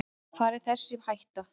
Hvar er þessi hætta.